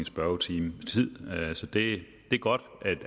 spørgetime så det er godt